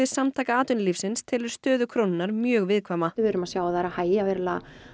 Samtaka atvinnulífsins telur stöðu krónunnar mjög viðkvæma við erum að sjá að það er að hægja verulega